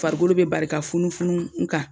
Farikolo bɛ bari ka funufunu u kan.